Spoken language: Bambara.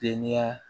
Denya